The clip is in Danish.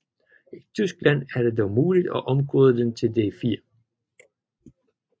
I Tyskland er det dog muligt at omkode den til D4